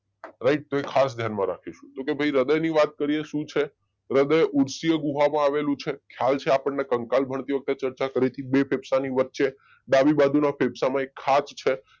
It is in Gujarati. રાઈટ તો એ ખાસ ધ્યાનમાં રાખીશું તો કે ભાઈ હૃદય ની વાત કરીએ શું છે હૃદય ઉપસીય ગુહા માં આવેલું છે ખયાલ છે આપણને કંકાલ ભળતી વખતે ચર્ચા કરી હતી બે ફેફસાની વચ્ચે ડાબી બાજુના ફેફસામાં એક ખાજ છે